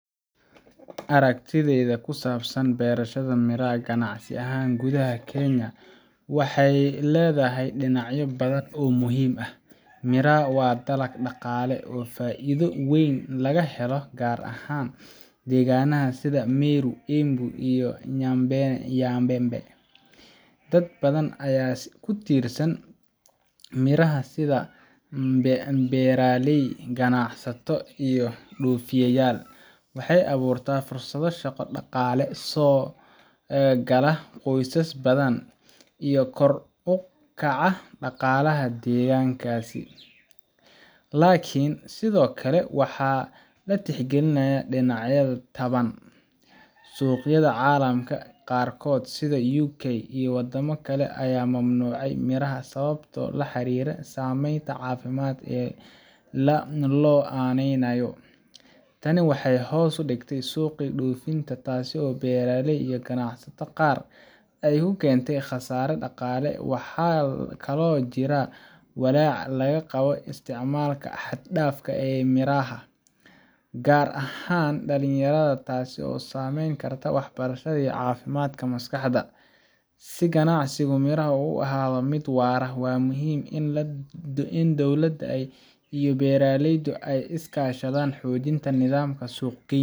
Aragtidayda ku saabsan beerashada miraa ganacsi ahaan gudaha Kenya waxay leedahay dhinacyo badan oo muhiim ah. miraa waa dalag dhaqaale ahaan faa’iido weyn laga helo gaar ahaan deegaanada sida Meru, Embu, iyo Nyambene. Dad badan ayaa ku tiirsan miraha sida beeraley, ganacsato, iyo dhoofiyeyaal. Waxay abuurtaa fursado shaqo, dhaqaale soo gala qoysas badan, iyo kor u kaca dhaqaalaha deegaanadaas. Laakiin sidoo kale waa in la tixgeliyaa dhinacyada taban. Suuqyada caalamka qaarkood sida UK iyo wadamo kale ayaa mamnuucay miraha sababo la xiriira saameynta caafimaad ee loo aaneynayo. Tani waxay hoos u dhigtay suuqii dhoofinta, taas oo beeraleyda iyo ganacsatada qaar ay ku keentay khasaare dhaqaale. Waxaa kaloo jira walaac laga qabo isticmaalka xad-dhaafka ah ee miraha, gaar ahaan dhalinyarada, taas oo saameyn karta waxbarashada iyo caafimaadka maskaxda. Si ganacsiga miraha uu u ahaado mid waara, waxaa muhiim ah in dowladda iyo beeraleydu ay iska kaashadaan xoojinta nidaamka suuq-geynta